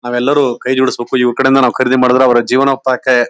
ನಾವೆಲ್ಲರು ಕೈ ಜೋಡ್ಸಬೇಕು ಇವ್ರ ಕಡೆಯಿಂದ ನಾವ್ ಖರೀದಿ ಮಾಡದ್ರೆ ಅವ್ರ ಜೀವನೋಪಾಯಕ್ಕೆ--